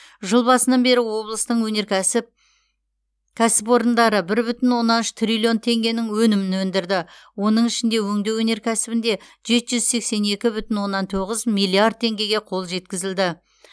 жыл басынан бері облыстың өнеркәсіп кәсіпорындары бір бүтін оннан үш триллион теңгенің өнімін өндірді оның ішінде өңдеу өнеркәсібінде жеті жүз сексен екі бүтін оннан тоғыз миллиард теңгеге қол жеткізілді